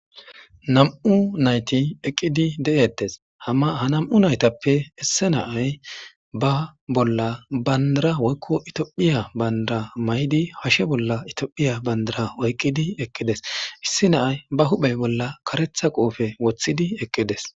nam7u nayti eqqidi de7ettes hama ha nam7u naytappe isse naay ba bolla bandara woykko itiophiya bandara maydi hashe bolla itophiya bandara oyqqidi eqqides issi naay ba huphey bolla karetha qoofe woththidi eqqides